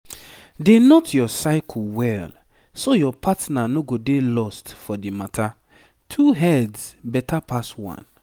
dey note your cycle well so your partner no go dey lost for the matter two heads better pass one.